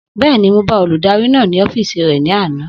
Bẹ́ẹ̀ni, mo bá olùdarí náà ní ọ́fìsì rẹ̀ ní àná